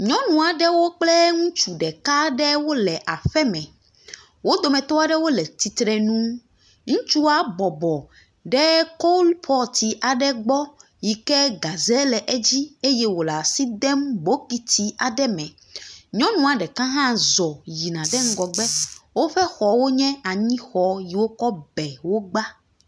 Nyɔnu aɖewo kple ŋutsu ɖeka aɖe wole aƒe me. Wo dometɔ aɖewo le tsitre nu. Ŋutsua bɔbɔ ɖe coalpot aɖe gbɔ yi ke gaze le edzi si ke wole asi dem bokiti aɖe me. Nyɔnua ɖeka hã zɔ̃ yina ɖe ŋgɔgbe. Woƒe xɔwo nye anyixɔ yi ke woka be wogbã.